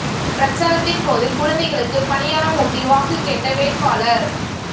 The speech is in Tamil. பிரச்சாரத்தின் போது குழந்தைக்கு பனியாரம் ஊட்டி வாக்கு கேட்ட வேட்பாளர்